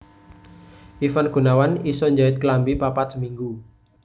Ivan Gunawan iso njait klambi papat seminggu